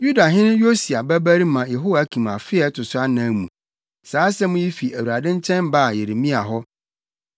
Yudahene Yosia babarima Yehoiakim afe a ɛto so anan mu, saa asɛm yi fi Awurade nkyɛn baa Yeremia hɔ: